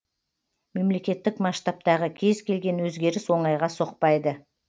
мемлекеттік масштабтағы кез келген өзгеріс оңайға соқпайды